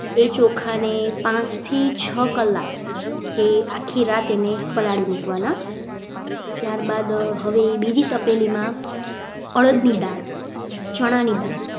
એ ચોખાને પાંચથી છ કલાક કે આખી રાત પલાળી રાખવાના. ત્યારબાદ હવે બીજી તપેલીમાં અડદની દાળ ચણાની દાળ